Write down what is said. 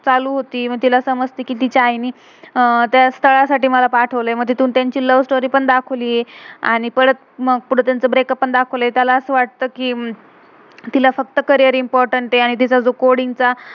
चालू होती. मग तिला समजतं कि तिच्या आई नि अं त्या स्तलासाठी मला पाठवले. मग तिथून त्यांची लव स्टोरी lovestory पण दखाव्लिये. आणि मग परत ब्रेकअप breakup पण दाखवलय. त्याला असं वाटतं कि हम्म तिला फ़क्त करियर career इम्पोर्टेन्ट important आहे. आणि तिचा जो कोडिंग coding चा